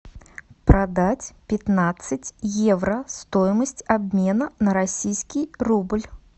продать пятнадцать евро стоимость обмена на российский рубль